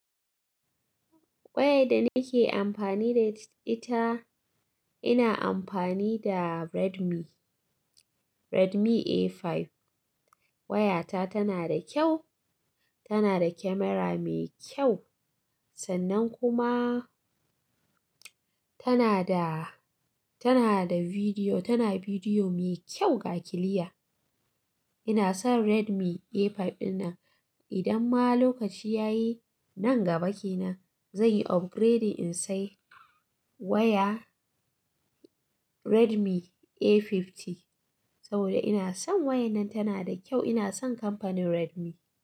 Waya da nake amfani da ita, ina amfani da Redmi, Redmi A5. Wayata tana da kyau, tana da camera mai kyau sannan kuma tana da, tana da bidiyo, tana bidiyo mai kyau ga kiliya. Ina son Redmi A5 ɗin nan. Idan ma lokaci ya yi, nan gaba ke nan, zan yi upgrading in sayi waya Redmi A50 saboda ina son wayar nan tana da kyau. Ina son kamfanin Redmi.